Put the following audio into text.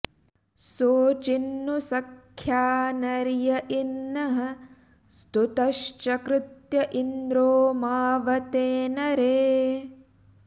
सो चिन्नु सख्या नर्य इनः स्तुतश्चर्कृत्य इन्द्रो मावते नरे